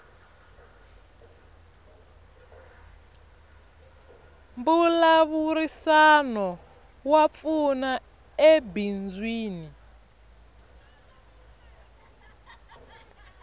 mbulavurisano wa pfuna ebindzwini